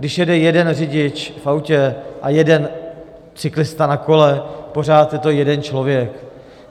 Když jede jeden řidič v autě a jeden cyklista na kole, pořád je to jeden člověk.